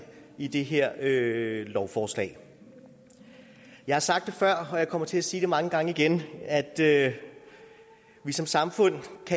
i det her lovforslag jeg har sagt det før og jeg kommer til at sige det mange gange igen at vi som samfund